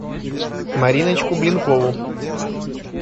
мариночку блинкову